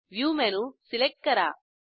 view menu select करा